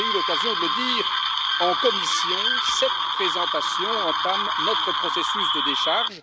Comme j'ai eu l'occasion de le dire en commission, cette présentation entame notre processus de décharge.